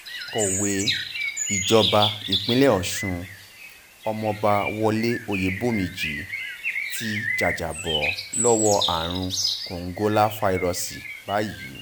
akọ̀wé ìjọba ìpínlẹ̀ ọ̀ṣun ọmọọba wọlé ọyẹ́bómíjì ti jàjàbọ́ lọ́wọ́ àrùn kòǹgóláfàírọ́ọ̀sì báyìí